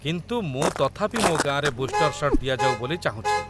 କିନ୍ତୁ ମୁଁ ତଥାପି ମୋ ଗାଁରେ ବୁଷ୍ଟର୍ ସଟ୍ ଦିଆଯାଉ ବୋଲି ଚାହୁଁଛି।